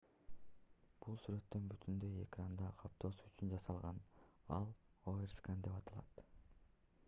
бул сүрөттүн бүтүндөй экранды каптоосу үчүн жасалган ал overscan деп аталат